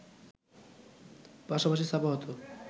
পাশাপাশি ছাপা হত